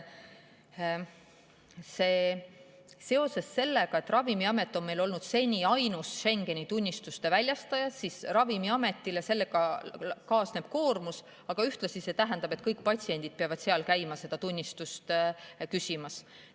Seoses sellega, et Ravimiamet on meil olnud seni ainus Schengeni tunnistuste väljastaja, on Ravimiametile sellega kaasnenud koormus, sest kõik patsiendid on pidanud seal käima seda tunnistust küsimas.